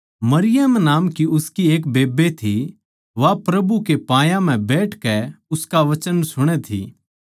मरियम नाम की उसकी एक बेब्बे थी वा प्रभु कै पायां म्ह बैठकै उसका वचन सुणै थी